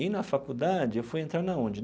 E, na faculdade, eu fui entrar na onde?